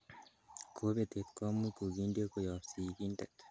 Kobetet komuch kokindie koyob sigindet